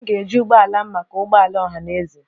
M ga-eji ụgbọ ala m maka ụgbọ ala ọha na eze.